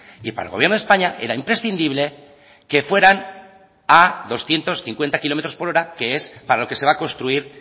y para el gobierno de españa era imprescindible que fueran a doscientos cincuenta kilómetros por hora que es para lo que se va construir